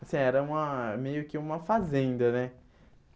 Assim, era uma meio que uma fazenda, né?